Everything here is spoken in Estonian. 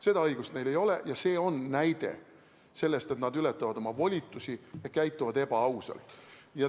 Seda õigust neil ei ole ja see on näide selle kohta, et nad ületavad oma volitusi ja käituvad ebaausalt.